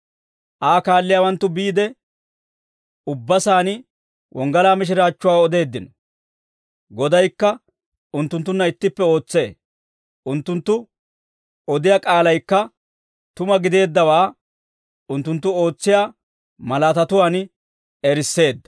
Aa kaalliyaawanttu biide, ubba saan wonggalaa mishiraachchuwaa odeeddino. Godaykka unttunttunna ittippe ootsee; unttunttu odiyaa k'aalaykka tuma gideeddawaa unttunttu ootsiyaa malaatatuwaan erisseedda.